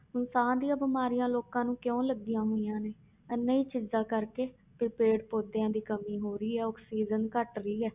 ਹੁਣ ਸਾਹ ਦੀਆਂ ਬਿਮਾਰੀਆਂ ਲੋਕਾਂ ਨੂੰ ਕਿਉਂ ਲੱਗੀਆਂ ਹੋਈਆਂ ਨੇ ਇਹਨਾਂ ਦੀ ਚਿੰਤਾ ਕਰਕੇ ਕਿ ਪੇੜ ਪੌਦਿਆਂ ਦੀ ਕਮੀ ਹੋ ਰਹੀ ਆ ਆਕਸੀਜਨ ਘੱਟ ਰਹੀ ਹੈ।